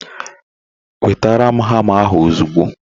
Wetara m hama ahụ ozugbo